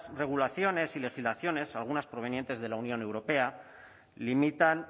regulaciones y legislaciones algunas provenientes de la unión europea limitan